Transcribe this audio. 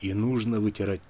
нужно